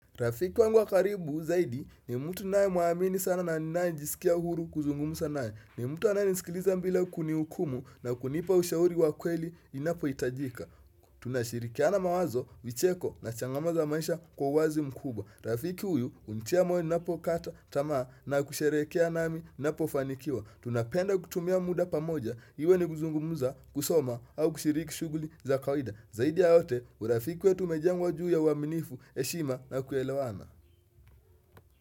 Rafiki wangu wa karibu zaidi ni mtu ninae muamini sana na ninae jisikia uhuru kuzungumusa nae ni mtu anae nisikiliza mbila kunihukumu na kunipa ushauri wa kweli inapoitajika tunashirikiana mawazo vicheko na changamo za maisha kwa uwazi mkubwa Rafiki huyu unitia moyo ninapo kata tamaa na kusherekea nami ninapofanikiwa Tunapenda kutumia muda pamoja iwe ni kuzungumuza kusoma au kushiriki shuguli za kawida Zaidi ya yote, urafiki umejengwa juu ya uaminifu, heshima na kuelewana.